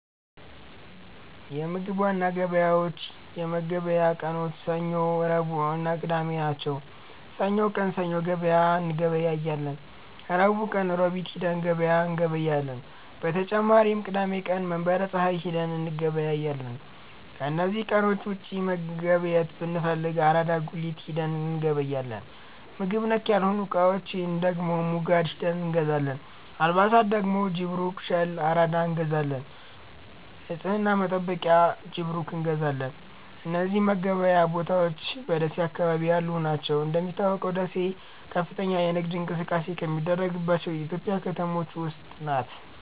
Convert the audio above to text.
የምግብ ዋና ገበያዎች የመገብያ ቀኖች ሰኞ፣ ረቡዕእና ቅዳሜ ናቸው። ሰኞ ቀን ሰኞ ገበያ እንገበያለን። ረቡዕ ቀን ሮቢት ሂደን ገበያ እንገበያለን። በተጨማሪም ቅዳሜ ቀን መንበረ ፀሀይ ሂደን እንገበያለን። ከነዚህ ቀኖች ውጪ መገብየት ብንፈልግ አራዳ ጉሊት ሂደን እንገበያለን። ምግብ ነክ ያልሆኑ እቃዎች ደግሞ ሙጋድ ሂደን እንገዛለን። አልባሣት ደግሞ ጅብሩክ፣ ሸል፣ አራዳ እንገዛለን። ንፅህና መጠበቂያ ጅብሩክ እንገዛለን። እነዚህ መገበያያ ቦታዎች በደሴ አካባቢ ያሉ ናቸው። እንደሚታወቀው ደሴ ከፍተኛ የንግድ እንቅስቃሴ ከሚደረግባቸው የኢትዮጵያ ከተሞች ውስጥ ናት።